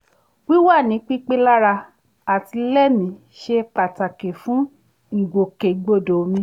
wíwà ní pípé lára àti lẹ́mìí ṣe pàtàkì fún ìgbòkègbodò mi